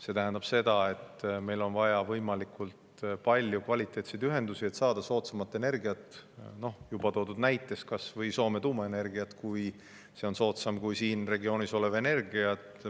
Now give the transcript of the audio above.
See tähendab seda, et meil on vaja võimalikult palju kvaliteetseid ühendusi, et saada soodsamat energiat – juba toodud näites kas või Soome tuumaenergiat, kui see on soodsam kui siin regioonis olev energia.